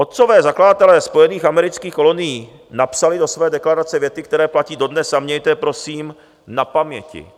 Otcové zakladatelé spojených amerických kolonií napsali do své deklarace věty, které platí dodnes, a mějte je prosím na paměti.